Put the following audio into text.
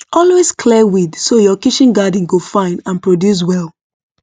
always clear weed so your kitchen garden go fine and produce well